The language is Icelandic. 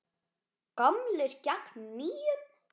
Gamlir gegn nýjum?